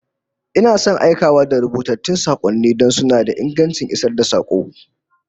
Ina son aikawa da rubutattun sakonni don suna da ingancin isar da sako